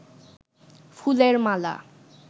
ফুলের মালা